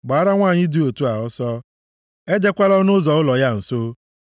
Gbaara nwanyị dị otu a ọsọ! Ejekwala ọnụ ụzọ ụlọ ya nso,